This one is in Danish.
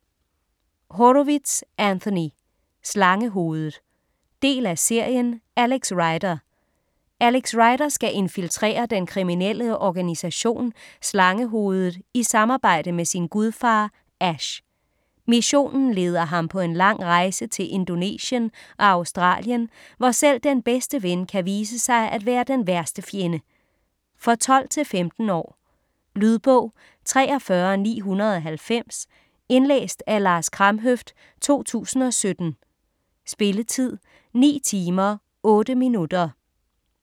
Horowitz, Anthony: Slangehovedet Del af serien Alex Rider. Alex Rider skal infiltrere den kriminelle organisation "Slangehovedet" i samarbejde med sin gudfar, Ash. Missionen leder ham på en lang rejse til Indonesien og Australien, hvor selv den bedste ven kan vise sig at være den værste fjende. For 12-15 år. Lydbog 43990 Indlæst af Lars Kramhøft, 2017. Spilletid: 9 timer, 8 minutter.